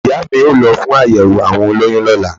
Ìyá a mi o lo fún àyèwò àwọn olóyun lọ́lá